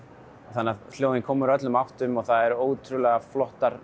þannig að hljóðin koma úr öllum áttum það eru ótrúlega flottar